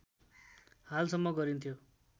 हालसम्म गरिन्थ्यो